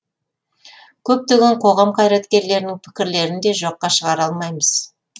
көптеген қоғам қайраткерлерінің пікірлерін де жоққа шығара алмаймыз